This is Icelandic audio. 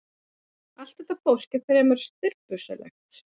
Allt þetta fólk var fremur stirðbusalegt.